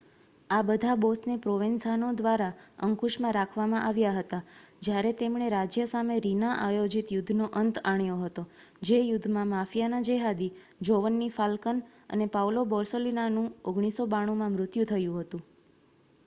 આ બધા બૉસને પ્રોવેન્ઝાનો દ્વારા અંકુશમાં રાખવામાં આવ્યા હતા જ્યારે તેમણે રાજ્ય સામે રીના-આયોજિત યુદ્ધનો અંત આણ્યો હતો જે યુદ્ધમાં માફિયાના જેહાદી જોવન્ની ફાલ્કન અને પાઉલો બોર્સેલિનોનું 1992માં મૃત્યુ થયું હતું